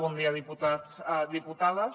bon dia diputats diputades